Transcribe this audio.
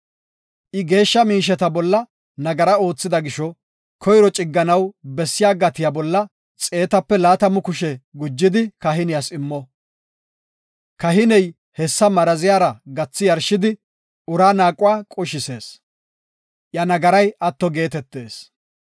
I geeshsha miisheta bolla nagara oothida gisho koyro cigganaw bessiya gatiya bolla xeetape laatamu kushe gujidi kahiniyas immo. Kahiney hessa maraziyara gathi yarshidi uraa naaquwa qushisees; iya nagaray atto geetetees.